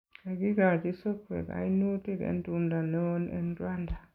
Kakikochi Sokwe kainutik en tumdo neon en Rwanda